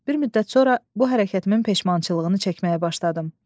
Bir müddət sonra bu hərəkətimin peşmançılığını çəkməyə başladım.